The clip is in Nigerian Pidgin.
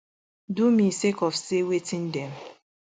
do me sake of say wetin dem